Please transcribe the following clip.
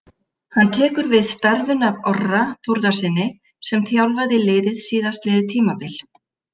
Hann tekur við starfinu af Orra Þórðarsyni sem þjálfaði liðið síðastliðið tímabil.